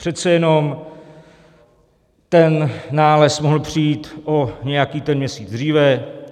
Přece jenom ten nález mohl přijít o nějaký ten měsíc dříve.